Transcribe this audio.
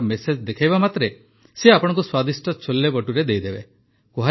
ଟିକାର ମେସେଜ୍ ଦେଖାଇବା ମାତ୍ରେ ସେ ଆପଣଙ୍କୁ ସ୍ୱାଦିଷ୍ଟ ଛୋଲେଭଟୁରେ ଦେଇଦେବେ